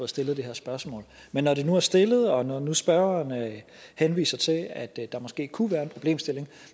stillet det her spørgsmål men når det nu er stillet og når nu spørgeren henviser til at der måske kunne være en problemstilling